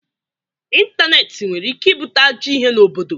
ịntanetị nwere ike ibute ajọ ihe n'obodo.